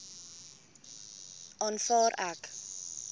aanvaar ek